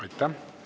Aitäh!